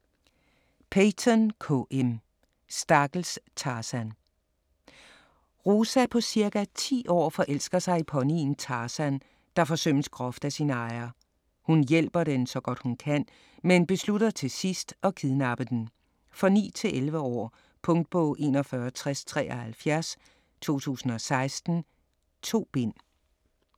Peyton, K. M.: Stakkels Tarzan Rosa på ca. 10 år forelsker sig i ponyen Tarzan, der forsømmes groft af sin ejer. Hun hjælper den så godt hun kan, men beslutter til sidst at kidnappe den. For 9-11 år. Punktbog 416073 2016. 2 bind.